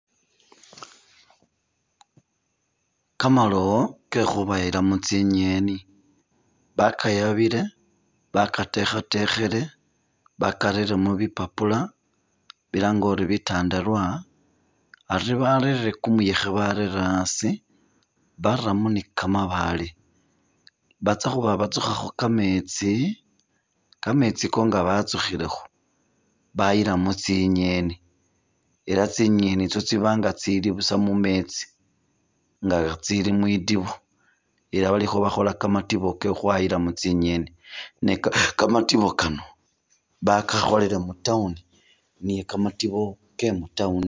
Kamalowo kekhubayilamo tsingeni bakayabile, bakatekhetekhile, bakarelemo bipapula bilange uri bitandarwa, ari barere kumuyekhe barere asi baramo ne kamabaale, batsakhuba batsukhakho kameetsi, kameetsi ako nga batsukhilekho bayilamo tsingeni, ela tsingeni itso tsiba busa nga tsitsiiba mumeetsi nga tsiiba mwitiibo, ela khabakhola kamatiibo kekhukhwayilamo tsingeni, ne kamatiibo kano bakakholela mu town ne kamatiibo ke mu town.